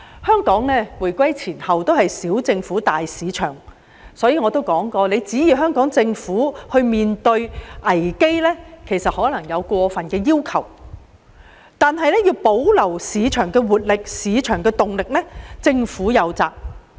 香港無論回歸前後，都是奉行"小政府，大市場"原則，所以我早就說指望香港政府能應對危機，可能是過分的要求，但保留市場的活力和動力，政府則有責。